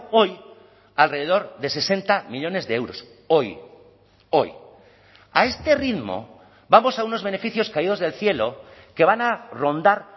hoy alrededor de sesenta millónes de euros hoy hoy a este ritmo vamos a unos beneficios caídos del cielo que van a rondar